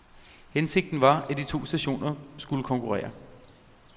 Hensigten var , at de to stationer skulle konkurrere.